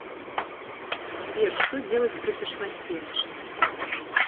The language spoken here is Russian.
сбер что делать при тошноте